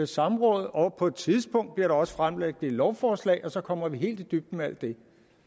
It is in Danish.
samråd om og på et tidspunkt bliver der også fremsat et lovforslag og så kommer vi helt i dybden med alt det